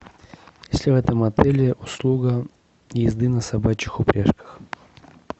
есть ли в этом отеле услуга езды на собачьих упряжках